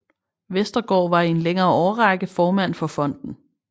Westergaard var i en længere årrække formand for fonden